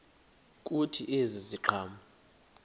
kuthi ezi ziqhamo